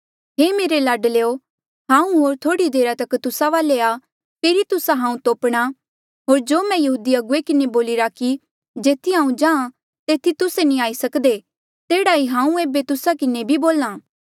हे मेरे बच्चेयो हांऊँ होर थोह्ड़ी देरा तक तुस्सा वाले आ फेरी तुस्सा हांऊँ तोपणा होर जो मैं यहूदी अगुवे किन्हें बोलिरा कि जेथी हांऊँ जाहाँ तेथी तुस्से नी आई सक्दे तेह्ड़ा ही हांऊँ एेबे तुस्सा किन्हें भी बोल्हा